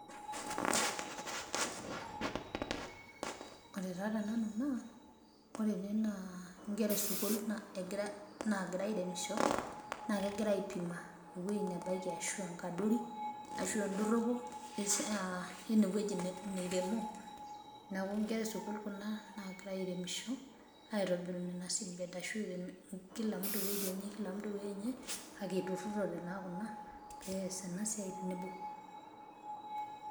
Ore taa tene naa nkera esukuul naaira airemisho naa kegira aipima ewuei nebaiki ashu enkadori ashuaa endoropo aa eine wueji niremo niaku nkera esukuul kuna nagira airemisho aitobiru ina segment ashu irem kila mtu ewuejienye kake inturorete naa kuna pees ena siai tenebo.